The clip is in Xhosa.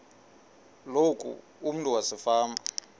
loku umntu wasefama